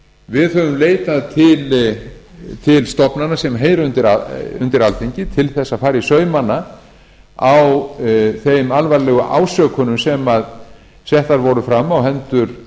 við höfum leitað til stofnana sem heyra undir alþingi til að fara í saumana á þeim alvarlegu ásökunum sem settar voru fram á hendur